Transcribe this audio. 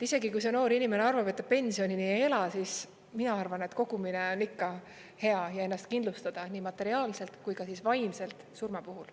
Isegi kui noor inimene arvab, et ta pensionini ei ela, siis mina arvan, et kogumine on ikka hea ja hea on ennast kindlustada nii materiaalselt kui ka vaimselt surma puhuks.